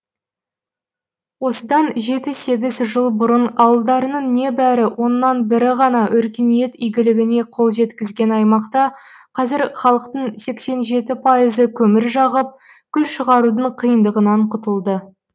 осыдан жеті сегіз жыл бұрын ауылдарының небәрі оннан бірі ғана өркениет игілігіне қол жеткізген аймақта қазір халықтың сексен жеті пайызы көмір жағып күл шығарудың қиындығынан құтылды